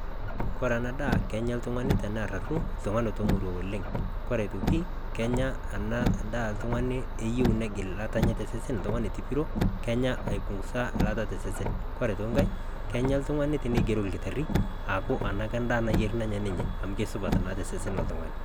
koree enaa daa kenya oltung'ani tenaa oltung'ani omoi oleng kenya enaa daa oltung'ani oyieu aipungusa eilata tosesen kenya oltung'ani enigeroki olkitari enaa keaku endaa nayierr ninye amu kesupat naa tosesen loltung'ani